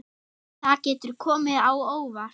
Það getur komið á óvart.